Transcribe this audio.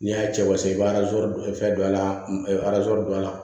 N'i y'a cɛ wasa i bɛ fɛn don a la don a la